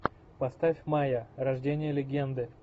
поставь майя рождение легенды